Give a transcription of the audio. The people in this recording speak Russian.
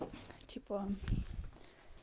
типа